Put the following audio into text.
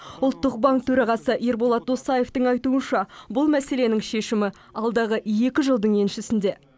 ұлттық банк төрағасы ерболат досаевтың айтуынша бұл мәселенің шешімі алдағы екі жылдың еншісінде